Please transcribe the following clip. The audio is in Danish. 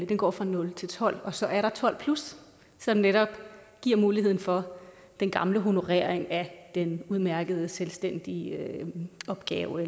den går fra nul til tolv og så er der 12 som netop giver muligheden for den gamle honorering af den udmærkede selvstændige opgave